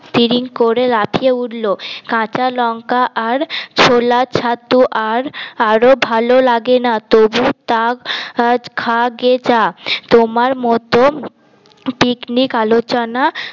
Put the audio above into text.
টিরিং করে লাফিয়ে উঠলো কাঁচা লঙ্কা আর ছোলা ছাতু আর আরো ভালো লাগে না তবু তা খাগে যা তোমার মত পিকনিক আলোচনা